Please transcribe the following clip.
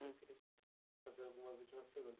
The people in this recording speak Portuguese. Hum Eu queria fazer algumas últimas perguntas.